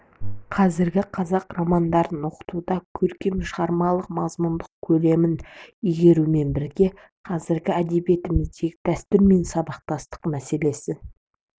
қазіргі қазақ романдарын оқытуда көркем шығарманың мазмұндық көлемін игертумен бірге қазіргі әдебиетіміздегі дәстүр мен сабақтастық мәселесін